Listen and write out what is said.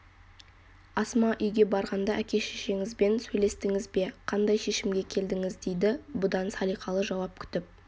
асма үйге барғанда әке-шешеңізбен сөйлестіңіз бе қандай шешімге келдіңіз дейді бұдан салиқалы жауап күтіп